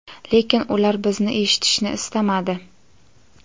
lekin ular bizni eshitishni istamadi.